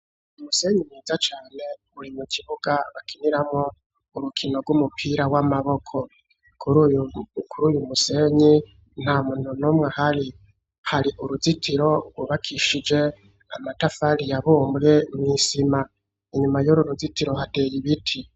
Umusenyi mwiza cane buri mu kibuga bakiniramo urukino rw'umupira w'amaboko kuri uyu musenyi nta muntu n'umwe hari hari uruzitiro rubakishije amatafari ya bumre mu isima inyuma y'uru ruzitiro hateye ibiti.